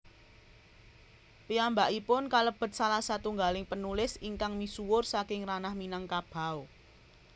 Piyambakipun kalebet salah satunggaling panulis ingkang misuwur saking ranah Minangkabau